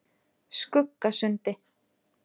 Skuggasundi